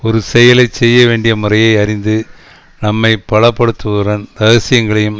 ஒரு செயலை செய்ய வேண்டிய முறையை அறிந்து நம்மை பலப்படுத்துவதுடன் ரகசியங்களையும்